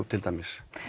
til dæmis